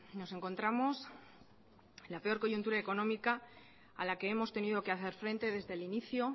nos encontramos en la peor coyuntura económica a la que hemos tenido que hacer frente desde el inicio